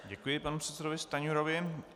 Děkuji panu předsedovi Stanjurovi.